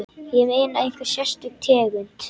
Ég meina, einhver sérstök tegund?